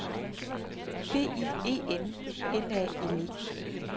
B I E N N A L E